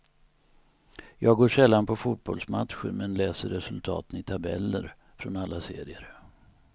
Jag går sällan på fotbollsmatcher men läser resultaten i tabeller från alla serier.